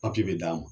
Papiye bɛ d'a ma